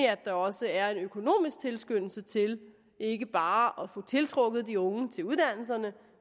at der også er en økonomisk tilskyndelse til ikke bare at få tiltrukket de unge til uddannelserne